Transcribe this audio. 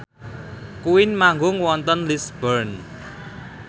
Queen manggung wonten Lisburn